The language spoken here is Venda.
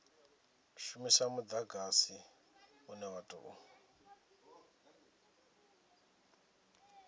shumisa mudagsai une wa tou